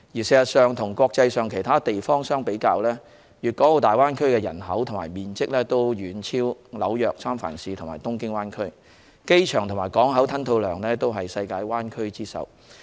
事實上，與國際上其他地方相比，大灣區的人口及面積均遠超紐約、三藩市和東京灣區，機場及港口吞吐量均為世界灣區之首。